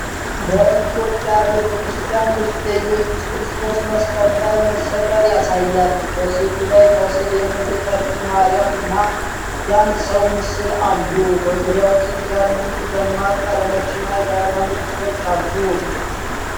በኢትዮጵያ ቤተክርስቲያን ውስጥ የኢየሱስ ክርስቶስን መስቀል ላይ መሰቀል ያሳያል። በሥዕሉ ላይ ከስር የእመቤታችን ማርያም እና የአንድ ሰው ምስል አሉ። በዙሪያው ጥርት ያሉ ደማቅ ቀለሞችና የሃይማኖት ጽሑፎች አሉ።